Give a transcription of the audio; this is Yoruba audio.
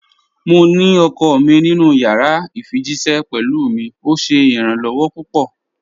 Mò ní ọkọ mi nínu yàrà ifijíṣẹ̀ pẹ̀lú mi, ọ̀ ṣé iràn-lọwọ̀ pupọ̀.